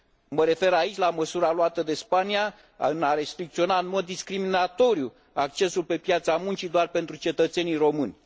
Mă refer aici la măsura luată de Spania de a restricționa în mod discriminatoriu accesul pe piața muncii doar pentru cetățenii români.